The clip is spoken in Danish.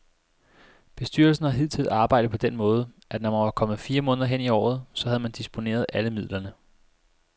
Bestyrelsen har hidtil arbejdet på den måde, at når man var kommet fire måneder hen i året, så havde man disponeret alle midlerne.